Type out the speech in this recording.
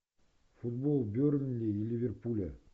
футбол бернли и ливерпуля